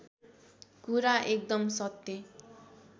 कुरा एकदम सत्य